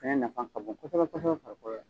O fɛnɛ nafa ka bon kosɛbɛ kosɛbɛ farikolo la.